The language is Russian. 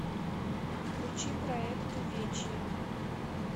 включи проект увечье